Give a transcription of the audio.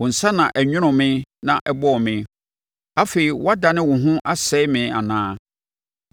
“Wo nsa na ɛnwonoo me na ɛbɔɔ me. Afei wobɛdane wo ho asɛe me anaa?